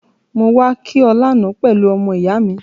Mo wa ki o lánan pelu ọmọ-ìyá mi